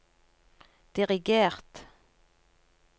dirigert